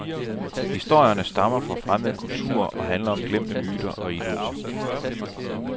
Historierne stammer fra fremmede kulturer og handler om glemte myter og idoler.